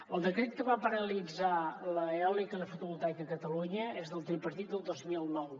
el decret que va paralitzar l’eòlica i la fotovoltaica a catalunya és del tripartit del dos mil nou